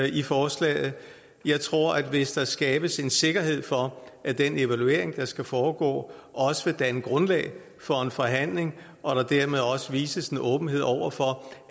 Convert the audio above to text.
i forslaget jeg tror signal hvis der skabes en sikkerhed for at den evaluering der skal foregå også vil danne grundlag for en forhandling og at der dermed også vises en åbenhed over for